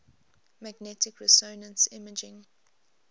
magnetic resonance imaging